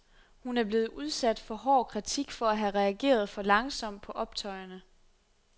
Hun er blevet udsat for hård kritik for at have reageret for langsomt på optøjerne.